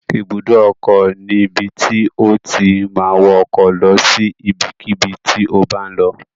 Ibùdó ọkọ̀ ni ibi tí o ti ma wọ ọkọ̀ lọ sí ibikíbi tí o bá ń lọ